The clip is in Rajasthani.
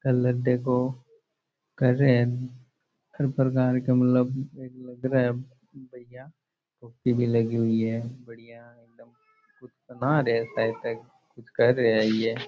कलर देखो कर रिया है हर प्रकार का मतलब एक लग रहा है भइया पुट्टी भी लगी हुई है बड़िया एकदम कुछ बना रहे हैं शायद तक कुछ कर रहे हैं ये।